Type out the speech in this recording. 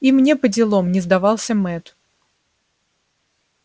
и мне поделом не сдавался мэтт